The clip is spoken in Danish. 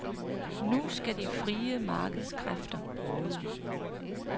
Nu skal de frie markedskræfter råde.